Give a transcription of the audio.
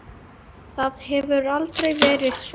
Það hefur aldrei verið svona.